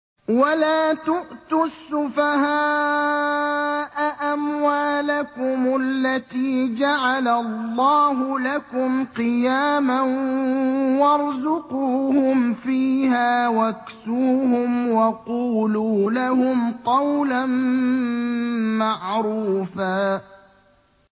وَلَا تُؤْتُوا السُّفَهَاءَ أَمْوَالَكُمُ الَّتِي جَعَلَ اللَّهُ لَكُمْ قِيَامًا وَارْزُقُوهُمْ فِيهَا وَاكْسُوهُمْ وَقُولُوا لَهُمْ قَوْلًا مَّعْرُوفًا